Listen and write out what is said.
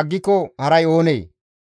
aggiko haray oonee?